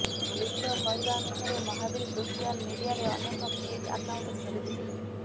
ପୋଲିସର କହିବା ଅନୁସାରେ ମହାବୀର ସୋସିଆଲ ମିଡିଆରେ ଅନେକ ଫେକ୍ ଆକାଉଣ୍ଟ କରିଥିଲେ